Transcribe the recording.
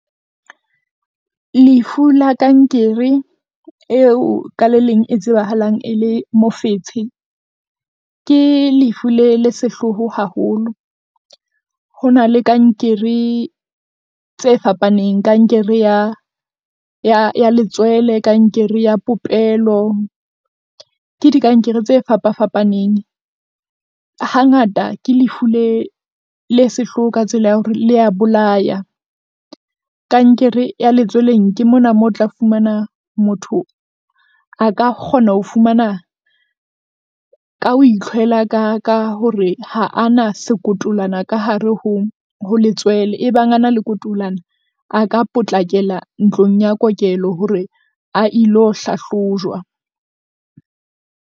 Lefu la kankere eo ka le leng e tsebahalang e le mofetshe. Ke lefu le le sehloho haholo. Ho na le kankere tse fapaneng, kankere ya ya ya letswele, kankere ya popelo. Ke dikankere tse fapa fapaneng. Hangata ke lefu le le sehloho ka tsela ya hore le ya bolaya. Kankere ya letsweleng ke mona moo o tla fumana motho a ka kgona ho fumana, ka ho utlhwela ka ka hore ha ana sekotolwana ka hare ho ho letswele. Ebang a na le kotolwana, a ka potlakela ntlong ya kokelo hore a ilo hlahlojwa.